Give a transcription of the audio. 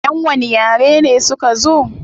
Yan wani yare ne suka zo?